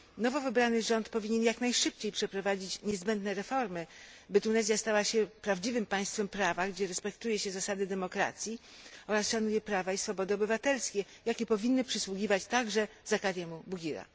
Nowo wybrany rząd powinien jak najszybciej przeprowadzić niezbędne reformy, by Tunezja stała się prawdziwym państwem prawa, gdzie respektuje się zasady demokracji oraz szanuje prawa i swobody obywatelskie, jakie powinny przysługiwać także Zakarii Bouguirze.